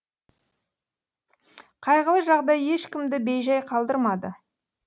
қайғылы жағдай ешкімді бейжай қалдырмады